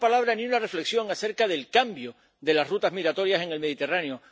Ni una palabra, ni una reflexión acerca del cambio de las rutas migratorias en el Mediterráneo.